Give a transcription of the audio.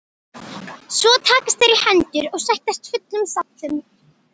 Svo takast þeir í hendur og sættast fullum sáttum.